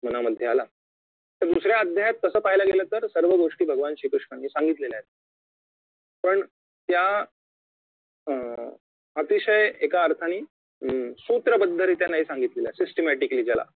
मनामध्ये आला तर दुसऱ्या अध्यायात तसं पहायला गेलं तर सर्वगोष्टी भगवान श्री कृष्णांनी सांगितलेल्या आहेत पण त्या अं अतिशय एका अर्थाने अं सूत्रबद्धरीत्या नाही सांगितलेल्या systematically ज्याला